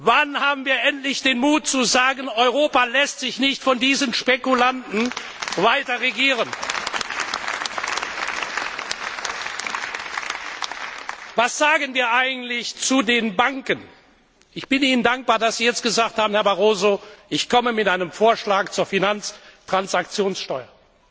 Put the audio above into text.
Wann haben wir endlich den Mut zu sagen Europa lässt sich nicht von diesen Spekulanten weiter regieren? Was sagen wir eigentlich zu den Banken? Ich bin Ihnen dankbar, Herr Barroso, dass Sie jetzt gesagt haben Ich komme mit einem Vorschlag zur Finanztransaktionssteuer.